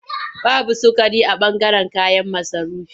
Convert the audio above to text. Babu sukari a ɓangaren kayan masarufi.